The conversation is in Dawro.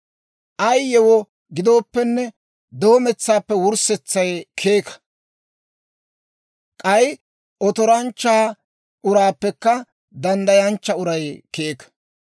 Ay yewoo gidooppenne, doometsaappe wurssetsay keeka; k'ay otoranchcha uraappekka danddayanchcha uray keeka.